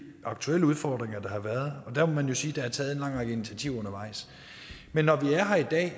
aktuelle udfordringer der har været og der må man jo sige at der er taget en lang række initiativer undervejs men når vi er her i dag